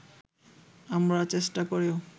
আমরা চেষ্টা করেও